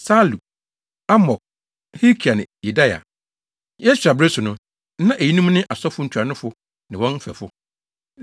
Salu, Amok, Hilkia ne Yedaia. Yesua bere so no, na eyinom ne asɔfo ntuanofo ne wɔn mfɛfo.